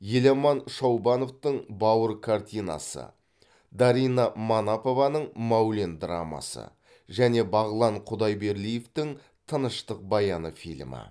еламан шаубановтың бауыр картинасы дарина манапованың мәулен драмасы және бағлан құдайберлиевтің тыныштық баяны фильмі